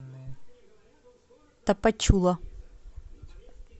тапачула